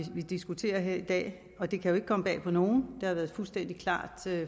vi diskuterer her i dag det kan ikke komme bag på nogen det har været fuldstændig klart